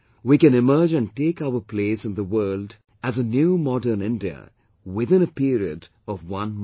We can emerge and take our place in the world as a new modern India within a period of one month